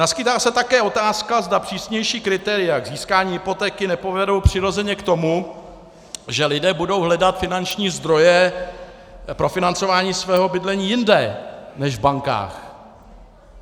Naskýtá se také otázka, zda přísnější kritéria k získání hypotéky nepovedou přirozeně k tomu, že lidé budou hledat finanční zdroje pro financování svého bydlení jinde než v bankách.